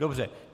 Dobře.